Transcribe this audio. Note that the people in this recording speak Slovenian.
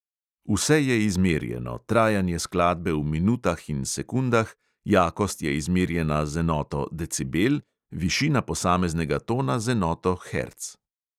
Vse je izmerjeno, trajanje skladbe v minutah in sekundah, jakost je izmerjena z enoto decibel, višina posameznega tona z enoto herc.